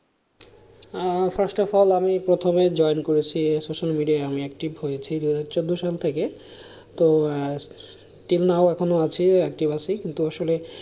ah First of all আমি প্রথমে join করেছি social media আমি active হয়েছি দু হাজার চৌদ্দ সাল থেকে তো till now এখনো আছি active আছি কিন্তু আসলে,